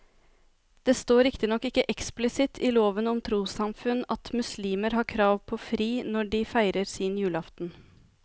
Det står riktignok ikke eksplisitt i loven om trossamfunn at muslimer har krav på fri når de feirer sin julaften.